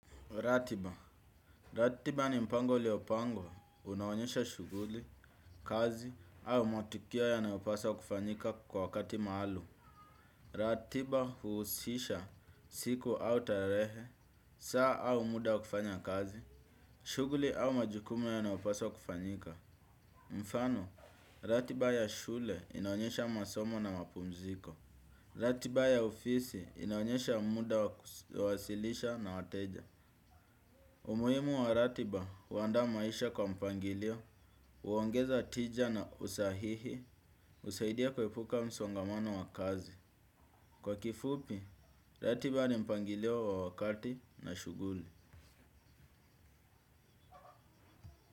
Ratiba ratiba ni mpango uliopangwa unaonyesha shughuli, kazi au matukio yanayopaswa kufanyika kwa wakati maalum. Ratiba huusisha siku au tarehe, saa au muda wa kufanya kazi, shughuli au majukumu yanayopaswa kufanyika. Mfano, ratiba ya shule inaonyesha masomo na mapumziko. Ratiba ya ofisi inaonyesha muda wa kuwasilisha na wateja. Umuhimu wa ratiba, uandaa maisha kwa mpangilio, huongeza tija na usahihi, husaidia kuepuka msongamano wa kazi. Kwa kifupi, ratiba ni mpangilio wa wakati na shughuli.